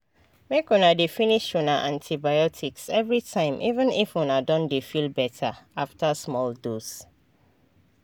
make una dey finish una antibiotics everytime even if una don dey feel better after small dose.